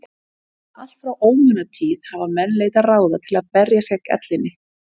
Allt frá ómunatíð hafa menn leitað ráða til að berjast gegn ellinni.